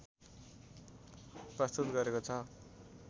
प्रस्तुत गरेको छ